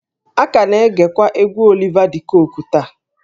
A ka na-egekwa egwú Oliva de Coque taa